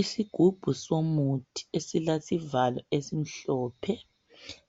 isigubhu somuthi esilesivalo esimhlophe